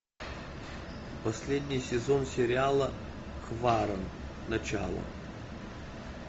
последний сезон сериала хваран начало